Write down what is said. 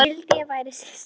Vildi ég væri systir.